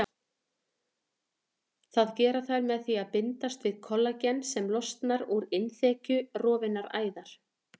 Það gera þær með því að bindast við kollagen sem losnar úr innþekju rofinnar æðar.